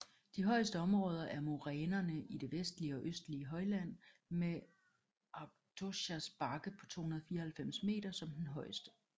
De højeste områder er morænerne i det vestlige og østlige højland med Aukštojas bakke på 294 m som den højeste